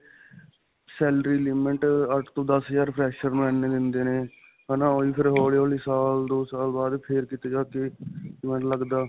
salary limit ਅੱਠ ਤੋ ਦੱਸ ਹਜ਼ਾਰ fresher ਨੂੰ ਇੰਨੀ ਦਿੰਦੇ ਨੇ ਹੈ ਨਾ. ਓਹੀ ਫਿਰ ਹੌਲੀ-ਹੌਲੀ ਸਾਲ ਦੋ ਸਾਲ ਬਾਅਦ ਫਿਰ ਕਿਤੇ ਜਾਕੇ ਮੈਨੂੰ ਲਗਦਾ.